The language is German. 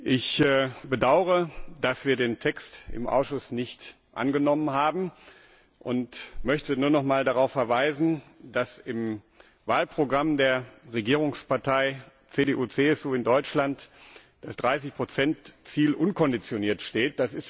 Ich bedaure, dass wir den Text im Ausschuss nicht angenommen haben, und möchte nur nochmals darauf verweisen, dass im Wahlprogramm der Regierungspartei CDU CSU in Deutschland das 30 Ziel unkonditioniert steht.